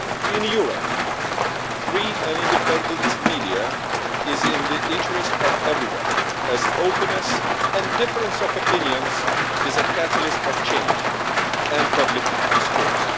In Europe, free and independent media is in the interest of everyone, as openness and difference of opinions is a catalyst of change and public discourse.